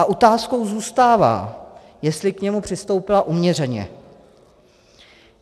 A otázkou zůstává, jestli k němu přistoupila uměřeně.